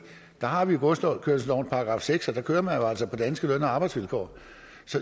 der har vi godskørselslovens § seks og der kører man jo altså på danske løn og arbejdsvilkår